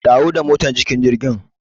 Dawo da motar cikin jirgin.